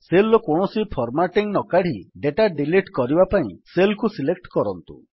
cell ର କୌଣସି formatting ନକାଢ଼ି ଡେଟା ଡିଲିଟ୍ କରିବା ପାଇଁ ସେଲ୍ କୁ ସିଲେକ୍ଟ କରନ୍ତୁ